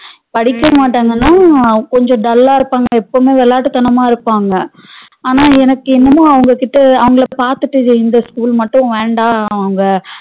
படிக்கமாட்டாங்கனா கொஞ்சம் dull அஹ் இருப்பாங்க எப்பவுமே விளாட்டுதணமா இருப்பாங்க ஆனா எனக்கு என்னமோ அவங்க கிட்ட அவங்கள பாத்துட்டு இந்த school மட்டும் வேண்டா அவங்க